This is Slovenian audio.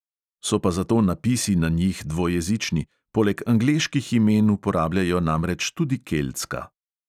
So pa zato napisi na njih dvojezični, poleg angleških imen uporabljajo namreč tudi keltska.